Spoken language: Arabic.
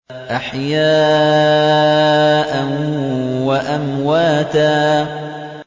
أَحْيَاءً وَأَمْوَاتًا